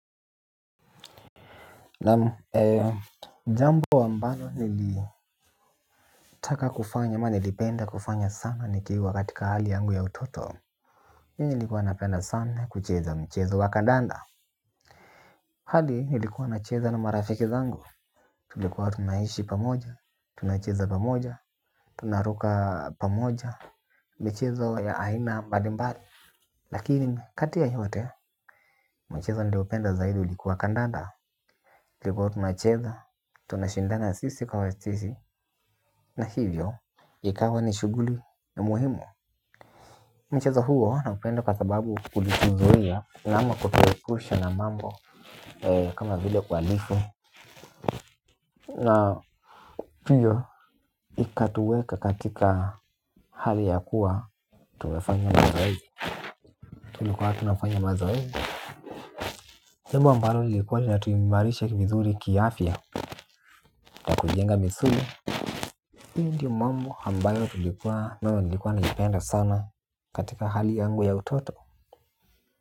Naam jambo ambalo nilitaka kufanya ama nilipenda kufanya sana nikiwa katika hali yangu ya utoto. Hii nilikuwa napenda sana kucheza mchezo wa kandanda. Hadi nilikuwa nacheza na marafiki zangu. Tulikuwa tunaishi pamoja, tunacheza pamoja, tunaruka pamoja, michezo ya aina mbarimbari. Lakini kati ya yote mchezo niliopenda zaidi ulikuwa kandanda kwa ivo tunacheza, tunashindana sisi kwa sisi. Na hivyo, ikawa ni shuguli ni muhimu. Mcheza huo naupunda kwa sababu ulituzuia. Na ama kutuwepusha na mambo kama vile kualifu. Na pia, ikatuweka katika hali ya kuwa tumefanya mazoezi. Tulikuwa tunafanya mazoezi jambo ambalo lilikuwa linatuimarisha vizuri kiafya. Na kujenga misuli. Hii ndio mambo hambayo tulikuwa ambayo nilikuwa naipenda sana katika hali yangu ya utoto.